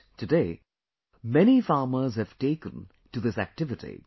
But, today, many farmers there have taken to this activity